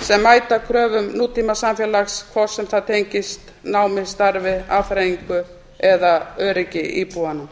sem mæta kröfum nútímasamfélags hvort sem það tengist námi starfi afþreyingu eða öryggi íbúanna